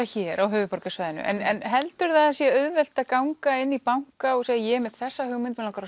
hér á höfuðborgarsvæðinu en heldurðu að það sé auðvelt að ganga inn í banka og segja ég er með þessa hugmynd mig langar